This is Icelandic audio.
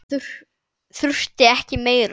Þurfti ekki meira.